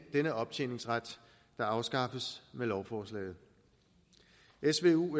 denne optjeningsret der afskaffes med lovforslaget svu